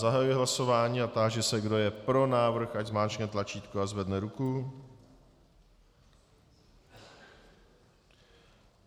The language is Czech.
Zahajuji hlasování a táži se, kdo je pro návrh, ať zmáčkne tlačítko a zvedne ruku.